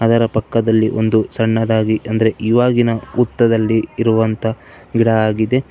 ಅದರ ಪಕ್ಕದಲ್ಲಿ ಒಂದು ಸಣ್ಣದಾಗಿ ಅಂದ್ರೆ ಇವಾಗಿನ ಹುತ್ತದಲ್ಲಿ ಇರುವಂತ ಗಿಡ ಆಗಿದೆ.